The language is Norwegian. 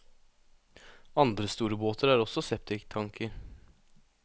Andre store båter har også septiktanker.